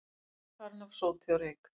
Illa farin af sóti og reyk